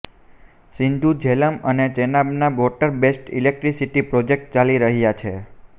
સિંધુ ઝેલમ અને ચેનાબમાં water based electricity project ચાલી રહ્યા છે